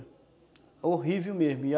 Horrível mesmo.